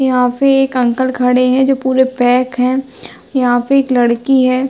यहाँ पे एक अंकल खड़े है जो पूरे पैक है। यहाँ पे एक लड़की है।